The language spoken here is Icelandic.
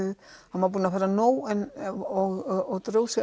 hann var búinn að fá nóg og dró sig